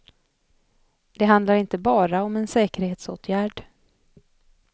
Det handlar inte bara om en säkerhetsåtgärd.